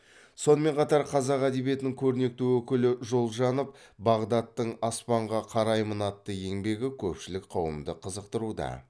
сонымен қатар қазақ әдебиетінің көрнекті өкілі жолжанов бағдаттың аспанға қараймын атты еңбегі көпшілік қауымды қызықтыруда